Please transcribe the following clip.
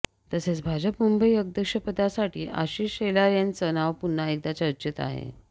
तसेच भाजप मुंबई अध्यक्षपदासाठी आशिष शेलार यांचं नाव पुन्हा एकदा चर्चेत आहे